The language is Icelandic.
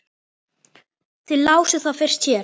Þið lásuð það fyrst hér.